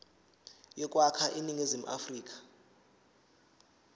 yokwakha iningizimu afrika